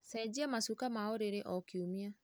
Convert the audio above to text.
Cenjia macuka ma ũrĩrĩ o kiumia.